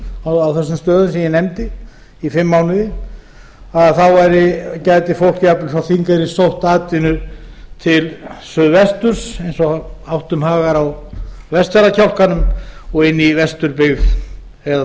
á þessum stöðum sem ég nefndi í fimm mánuði þá gæti fólk jafnvel frá þingeyri sótt atvinnu til suðvesturs eins og áttum hagar á vestfjarðakjálkanum og inn í vesturbyggð eða